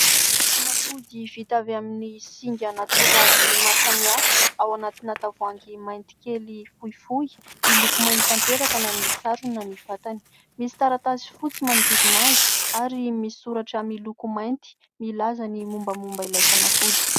Fanafody vita avy amin'ny singa natoraly maro samihafa ao anatina tavoahangy mainty kely fohifohy, miloko mainty tanteraka na nisarona ny vatany, misy taratasy fotsy manodidina azy ary misoratra miloko mainty milaza ny mombamomba ilay fanafody.